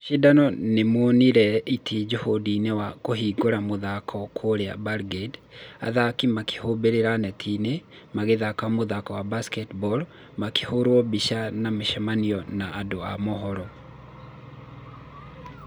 Mashidano nĩmũnire itĩ jihũrũhĩndĩ wa kũhingũra mũthako kũrĩa belgrade , athqki makĩkũmbanĩra netinĩ , magĩthaka mũthako wa basketball , makĩhũrwo mbica na mĩcamanio na andũ a mũhoro.